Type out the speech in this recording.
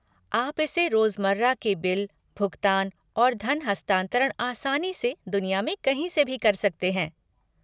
आप इससे रोजमर्रा के बिल, भुगतान और धन हस्तांतरण आसानी से दुनिया में कहीं से भी कर सकते हैं।